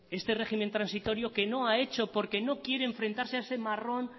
este régimen transitorio que no ha hecho porque no quiere enfrentarse a ese marrón